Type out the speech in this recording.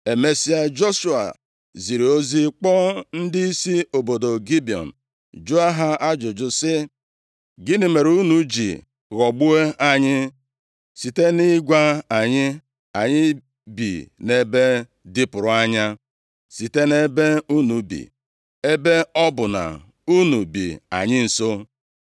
Emesịa, Joshua ziri ozi kpọọ ndịisi obodo Gibiọn jụọ ha ajụjụ sị, “Gịnị mere unu ji ghọgbuo anyị site nʼịgwa anyị, ‘Anyị bi nʼebe dịpụrụ anya, site nʼebe unu bi,’ ebe ọ bụ na unu bi anyị nso?